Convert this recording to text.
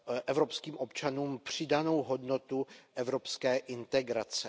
evropským občanům přidanou hodnotu evropské integrace.